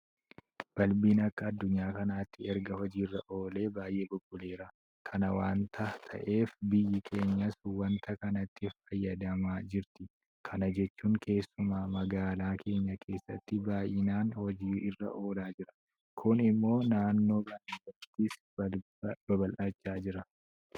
Balbiin akka addunyaa kanaatti erga hojii irra oolee baay'ee bubbuleera. Kana waanta ta'eef biyyi keenyas waanta kanatti fayyadamaa jirti. Kana jechuun keessumaa magaalaa keenya keessatti baay'inaan hojii irra oolaa jira. Kun immoo naannoo baadiyyaattis babal'achaa jira.